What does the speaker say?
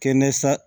Kɛnɛ sa